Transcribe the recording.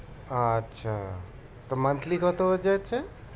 আচ্ছা monthly কত হয়ে যাচ্ছে?